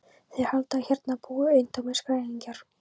Þeir halda að hérna búi eintómir skrælingjar.